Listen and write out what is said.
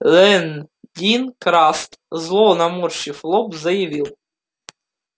лэн дин краст зло наморщив лоб заявил